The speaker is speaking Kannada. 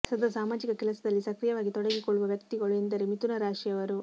ಸದಾ ಸಾಮಾಜಿಕ ಕೆಲಸದಲ್ಲಿ ಸಕ್ರಿಯವಾಗಿ ತೊಡಗಿಕೊಳ್ಳುವ ವ್ಯಕ್ತಿಗಳು ಎಂದರೆ ಮಿಥುನ ರಾಶಿಯವರು